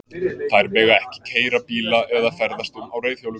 Þær mega ekki keyra bíla eða ferðast um á reiðhjólum.